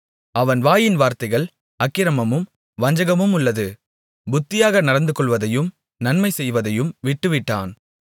அவன் வாயின் வார்த்தைகள் அக்கிரமமும் வஞ்சகமுமுள்ளது புத்தியாக நடந்துகொள்வதையும் நன்மை செய்வதையும் விட்டுவிட்டான்